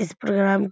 इस प्रोग्राम